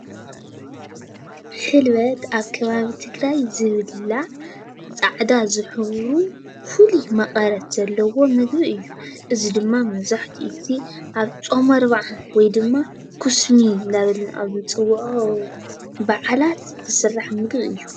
ሕልበት ኣብ ከባቢ ትግራይ ዝብላዕ ፃዕዳ ዝሕብሩ ፍሉይ መቐረት ዘለዎ ምግቢ እዩ፡፡ እዚ ድማ መብዛሕትኡ ጊዜ ኣብ ፆም 40 ወይ ድማ ኩስሚ እናበልና ኣብ ንፅውዖ በዓላት ዝስራሕ ምግቢ እዩ፡፡